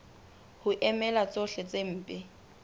ho emela tsohle tse mpe